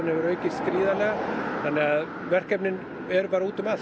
hefur aukist verkefnin eru útum allt